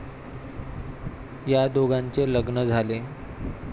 या दोघांचे लग्न झाले.